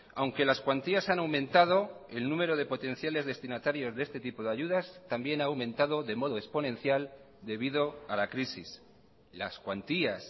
aunque las cuantías han aumentado el número de potenciales destinatarios de este tipo de ayudas también ha aumentado de modo exponencial debido a la crisis las cuantías